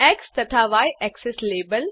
x तथा Y axes label